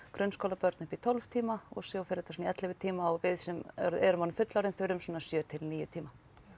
grunnskólabörn upp í tólf tíma og svo fer þetta í ellefu tíma og við sem erum fullorðin þurfum svona sjö til níu tíma